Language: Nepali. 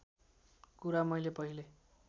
कुरा मैले पहिले